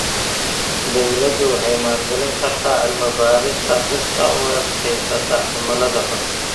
Dawladdu waxay maalgelin kartaa cilmi-baarista dhirta u adkaysata cimilada xun.